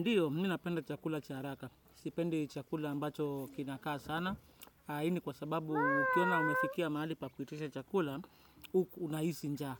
Ndiyo, mimi napenda chakula cha haraka. Sipendi chakula ambacho kinakaa sana. Hii ni kwa sababu ukiona umefikia mahali pa kuitisha chakula, unahisi njaa.